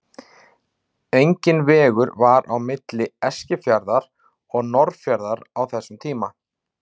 Enginn vegur var á milli Eskifjarðar og Norðfjarðar á þessum tíma.